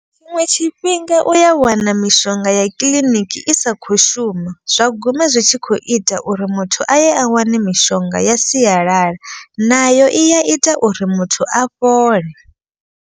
Tshiṅwe tshifhinga u ya wana mishonga ya kiḽiniki i sa kho shuma. Zwa guma zwi tshi kho ita uri muthu aye a wane mishonga ya sialala. Nayo i ya ita uri muthu a fhole.